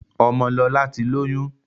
Ọmọlọlá ti lóyún.